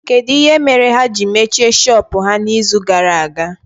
Kedụ ihe mere ha ji mechie shọpụ ha na izu gara aga?